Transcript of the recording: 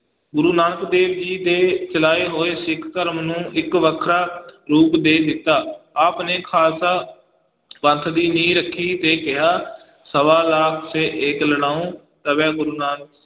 ਗੁਰੂ ਨਾਨਕ ਦੇਵ ਜੀ ਦੇ ਚਲਾਏ ਹੋਏ ਸਿੱਖ ਧਰਮ ਨੂੰ ਇੱਕ ਵੱਖਰਾ ਰੂਪ ਦੇ ਦਿੱਤਾ, ਆਪ ਨੇ ਖਾਲਸਾ ਪੰਥ ਦੀ ਨੀਂਹ ਰੱਖੀ ਤੇ ਕਿਹਾ ਸਵਾ ਲਾਖ ਸੇ ਏਕ ਲੜਾਊਂ ਤਬੈ ਗੁਰੂ